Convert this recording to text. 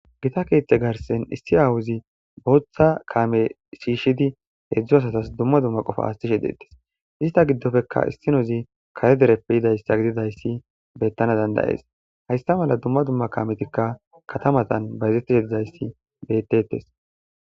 gita keeththe garsen issi awuzi booththa kaame shiishidi heedzdzu asatas dumma dumma qofa astishe deettes ista giddofekka issinozi kare dereppe yidayssa gididayssi beettana dandayees haysta mala dumma dumma kametikka katamatan bayzettish dizayssi bettettes